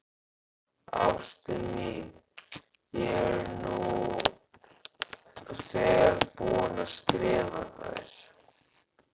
Ástin mín, ég er nú þegar búinn að skrifa þér.